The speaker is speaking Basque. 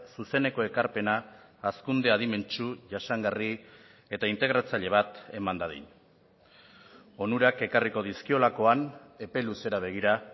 zuzeneko ekarpena hazkunde adimentsu jasangarri eta integratzaile bat eman dadin onurak ekarriko dizkiolakoan epe luzera begira